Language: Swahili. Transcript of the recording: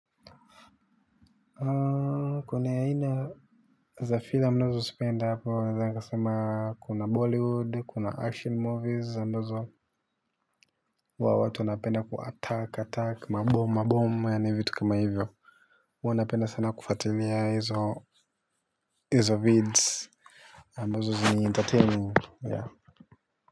Kuna aina za filamu ninazozipenda hapo nadhani nikasema kuna bollywood kuna action movies ambazo watu wanapenda ku attack attack mabom mabom yaani vitu kama hivyo huwa napenda sana kufuatilia hizo vids ambazo ni entertaining.